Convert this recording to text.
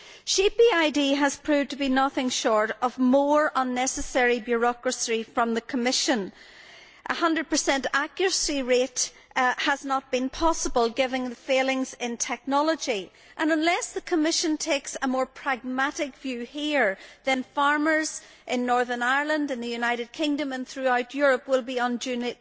Sheep EID has proved to be nothing short of more unnecessary bureaucracy from the Commission. A 100 accuracy rate has not been possible, given the failings in technology, and unless the Commission takes a more pragmatic view here, farmers in Northern Ireland, the United Kingdom and throughout Europe will be unduly